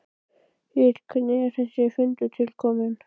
Egill hvernig er þessi fundur til kominn?